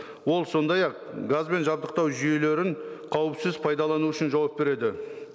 ол сондай ақ газбен жабдықтау жүйелерін қауіпсіз пайдалану үшін жауап береді